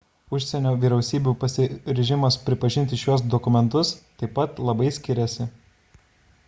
užsienio vyriausybių pasiryžimas pripažinti šiuos dokumentus taip pat labai skiriasi